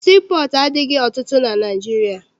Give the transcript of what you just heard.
Sii pọọtụ adịghị ọtụtụ na Naịjirịa.